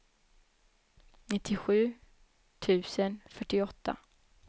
nittiosju tusen fyrtioåtta